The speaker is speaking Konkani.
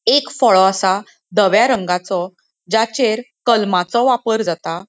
एक फळो आसा धव्या रंगाचो. ज्याचेर कलमाचो वापर जाता.